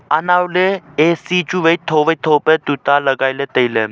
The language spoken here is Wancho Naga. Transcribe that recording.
anaw ley A_C chu wai tho wai tho pa tuta lagailey tailey.